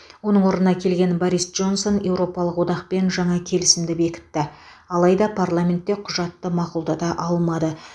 оның орнына келген борис джонсон еуропалық одақпен жаңа келісімді бекітті алайда парламентте құжатты мақұлдата алмады